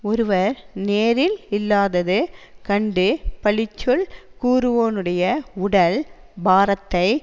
ஒருவர் நேரில் இல்லாதது கண்டு பழிச்சொல் கூறுவோனுடைய உடல் பாரத்தை